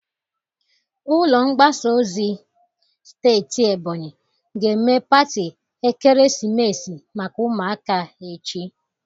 Ụlọ mgbasa ozi steeti Ebonyi ga-eme pati ekeresimesi maka ụmụaka echi.